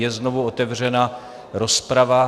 Je znovu otevřena rozprava.